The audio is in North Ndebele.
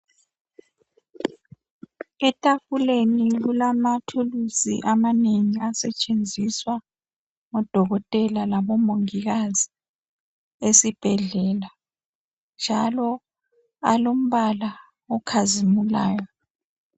Etafuleni kulamathuluzi amanengi asetshenziswa ngodokotela labomongikazi esibhedlela njalo alombala okhazimulayo.